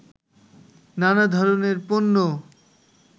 নানা ধরনের পণ্য